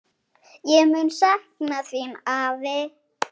Ég mun sakna þín, afi.